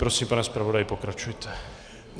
Prosím, pane zpravodaji, pokračujte.